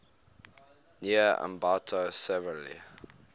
near ambato severely